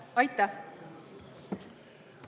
Aitäh!